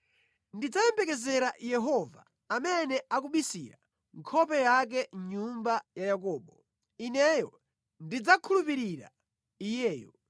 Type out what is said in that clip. Ndidzayembekezera Yehova, amene akubisira nkhope yake nyumba ya Yakobo. Ine ndidzakhulupirira Iyeyo.